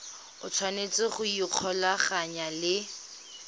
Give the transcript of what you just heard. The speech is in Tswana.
o tshwanetse go ikgolaganya le